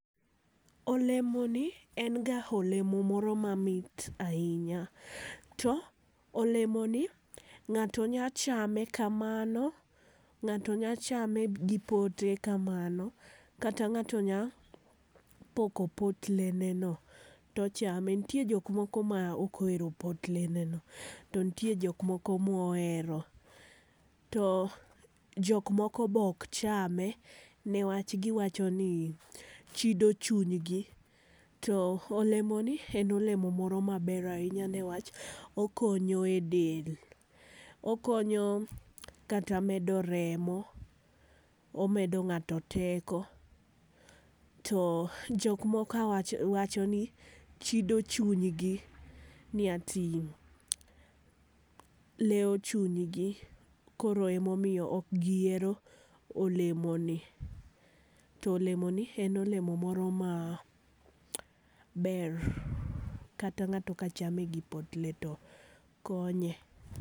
Olemo ni en ga olemo moro ma mit ainya to olemo ni ng'ato nya chame ka mano ng'ato nya chame gi pote ka mano kata ng'ato nya poko potle ne no to chame ,nitie jok moko ma ok ohero potle ne no ,to nitie jok ma ohero. To jok moko be ok chame ne wach gi wacho ni chido chuny gi to olemo ni en olemo moro ma ber ainya niwach okonyo e del, okonyo kata e medo remo ,omedo ng'ato teko to jok moko wacho ni chido chuny gi ni ati lewo chuny gi kor ema omiyo ok gi hero olemo ni. To olemo ni en olemo moro ma ber kata ng'ato ka chame gi potle ne to konye.